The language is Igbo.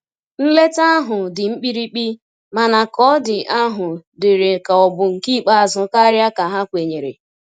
Nleta ahu ndi mkpirikpi, mana ka ọ di ahụ diri ka ọ bụ nke ikpeazu karia ka ha kwenyere.